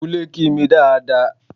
Kúnlẹ̀ kí mi dáa dáa!